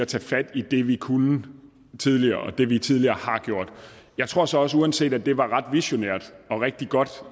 tage fat i det vi kunne tidligere og det vi tidligere har gjort jeg tror så også uanset at det var ret visionært og rigtig godt